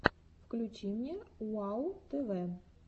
включи мне уау тв